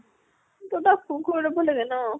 তই তাক phone কৰি লব লাগে ন।